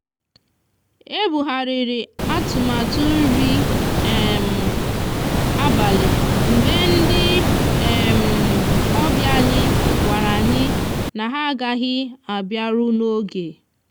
e bugharịrị atụmatụ nri um abalị mgbe ndị um obịa anyị gwara anyị na ha agaghị abịaru n'oge.